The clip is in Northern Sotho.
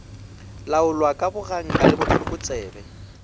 laolwa ka boganka le bohlokotsebe